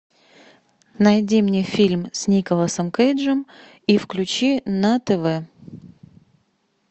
найди мне фильм с николасом кейджем и включи на тв